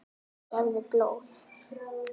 Gefðu blóð.